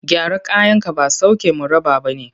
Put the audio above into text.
Gyara kayanka ba sauke mu raba ba ne.